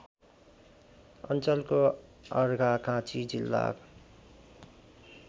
अञ्चलको अर्घाखाँची जिल्ला